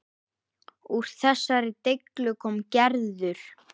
Úr þessari deiglu kom Gerður.